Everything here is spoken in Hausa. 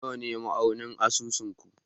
Nawa ne ma'auni a asusun ku?